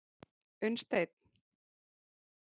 Unnsteinn